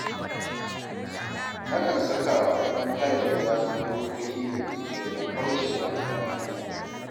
Nakan saka wa ‘yan hayar gidana dokoki ne domin kauce wa hayaniya